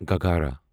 گھاگھرا